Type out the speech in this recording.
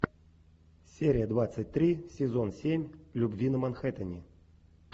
серия двадцать три сезон семь любви на манхэттене